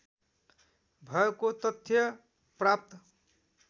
भएको तथ्य प्राप्त